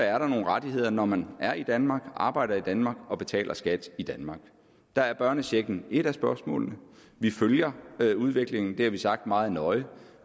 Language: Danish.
er der nogle rettigheder når man er i danmark arbejder i danmark og betaler skat i danmark der er børnechecken et af spørgsmålene vi følger udviklingen det har vi sagt meget nøje